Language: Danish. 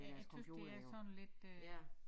Jeg jeg synes det er sådan lidt øh